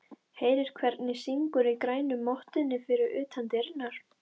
Heyrir hvernig syngur í grænu mottunni fyrir utan dyrnar.